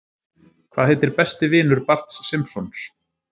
Hvað heitir besti vinur Barts Simpsons?